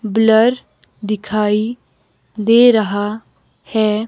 Blur दिखाई दे रहा है।